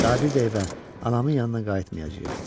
Daha bir də evə, anamın yanına qayıtmayacağıq.